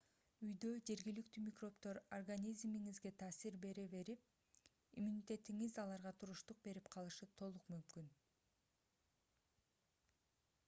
үйдө жергиликтүү микробдор организмиңизге таасир бере берип иммунитетиңиз аларга туруштук берип калышы толук мүмкүн